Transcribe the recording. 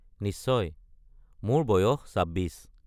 নিশ্চয়, মোৰ বয়স ২৬।